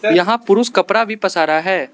यहां पुरुष कपड़ा भी पसारा है।